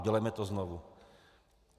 Udělejme to znovu.